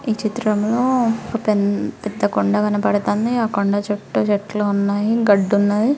ఈ చిత్రం లో ఒక ప్పే-పద్ద కొండ కనబడుతుంది. ఆ కొండ చుట్టూ చెట్లు ఉన్నాయి. గడ్డి ఉన్నాయి.